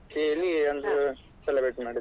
ಕೇಳಿ ಕೇಳಿ ಒಂದು celebrate ಮಾಡಿದ್ರೆ